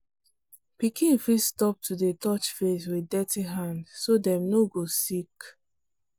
pikin fit stop to dey touch face with dirty hand so dem no go sick.